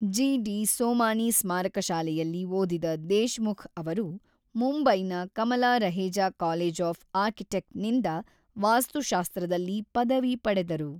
G. D. Somani ಸ್ಮಾರಕ ಶಾಲೆಯಲ್ಲಿ ಓದಿದ ದೇಶ್‌ಮುಖ್ ಅವರು ಮುಂಬೈನ Kamala Raheja college of architecture ನಿಂದ ವಾಸ್ತುಶಾಸ್ತ್ರದಲ್ಲಿ ಪದವಿ ಪಡೆದರು.